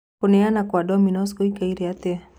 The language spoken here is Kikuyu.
kũneana kwa domino's gũikaire atia